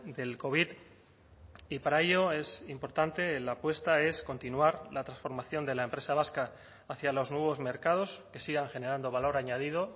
del covid y para ello es importante la apuesta es continuar la transformación de la empresa vasca hacia los nuevos mercados que sigan generando valor añadido